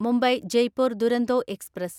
Mumbai Jaipur Duronto express